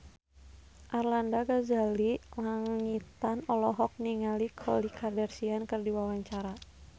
Arlanda Ghazali Langitan olohok ningali Khloe Kardashian keur diwawancara